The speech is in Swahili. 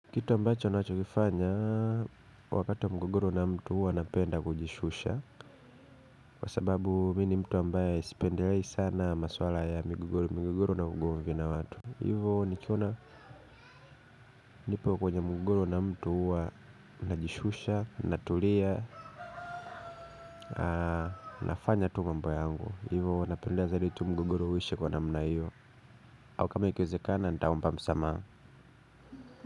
Kitu ambacho ninachokifanya wakati wa mgogoro na mtu huwa napenda kujishusha, kwa sababu mimi ni mtu ambaye sipendelei sana maswala ya migogoro na watu. Hivo nikiona niko kwenye mgogoro na mtu huwa najishusha, natulia nafanya tu mambo yangu. Hivo huwa napenda zaidi tu mgogoro uishe kwa namna hiyo. Au kama ikiwezekana nitaomba msamaha.